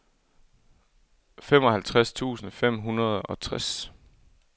femoghalvtreds tusind fem hundrede og tres